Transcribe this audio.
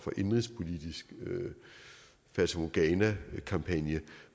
indenrigspolitisk fatamorganakampagne